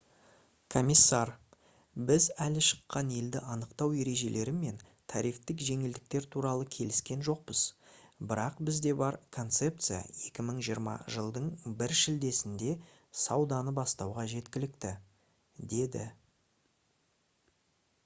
комиссар: «біз әлі шыққан елді анықтау ережелері мен тарифтік жеңілдіктер туралы келіскен жоқпыз бірақ бізде бар концепция 2020 жылдың 1 шілдесінде сауданы бастауға жеткілікті» - деді